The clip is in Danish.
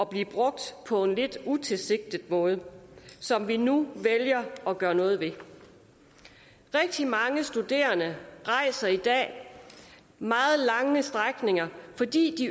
bliver brugt på en lidt utilsigtet måde som vi nu vælger at gøre noget ved rigtig mange studerende rejser i dag meget lange strækninger fordi